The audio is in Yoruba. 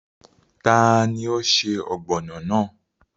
Tani o se ọ́gbọnọ́ náà?